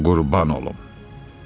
Sənə qurban olum.